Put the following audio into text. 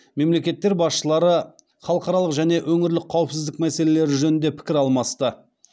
мемлекеттер басшылары халықаралық және өңірлік қауіпсіздік мәселелері жөнінде пікір алмасты